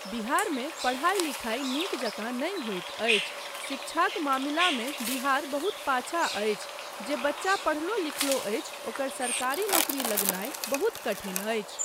बिहारमे पढ़ाइ लिखाइ नीक जकाँ नहि होइत अछि, शिक्षाक मामिलामे बिहार बहुत पाछा अछि, जे बच्चा पढ़लो लिखलो अछि ओकर सरकारी नौकरी लगनाय बहुत कठिन अछि।